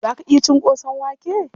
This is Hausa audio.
Za ka ci ƙosan wake?